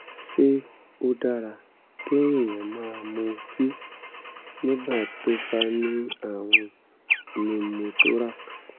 ṣé ó dára kéèyàn máa mutí nígbà tó bá ní àrùn pneumothorax?